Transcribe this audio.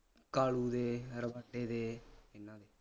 ਕਾਲੂ ਦੇ ਦੇ ਇਹਨਾਂ ਦੇ